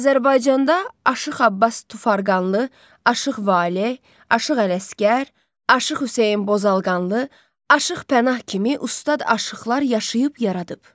Azərbaycanda Aşıq Abbas Tufarqanlı, Aşıq Valeh, Aşıq Ələsgər, Aşıq Hüseyn Bozalqanlı, Aşıq Pənah kimi ustad aşıqlar yaşayıb yaradıb.